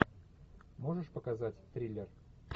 можешь показать триллер